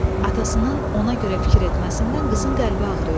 Atasının ona görə fikir etməsindən qızın qəlbi ağrıyırdı.